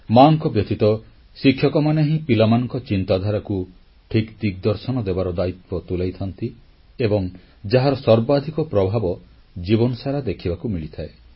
ମାଙ୍କ ବ୍ୟତୀତ ଶିକ୍ଷକମାନେ ହିଁ ପିଲାମାନଙ୍କ ଚିନ୍ତାଧାରାକୁ ଠିକ୍ ଦିଗଦର୍ଶନ ଦେବାର ଦାୟିତ୍ୱ ତୁଲାଇଥାନ୍ତି ଏବଂ ଯାହାର ସର୍ବାଧିକ ପ୍ରଭାବ ଜୀବନ ସାରା ଦେଖିବାକୁ ମିଳିଥାଏ